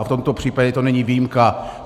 A v tomto případě to není výjimka.